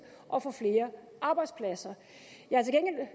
og få flere arbejdspladser jeg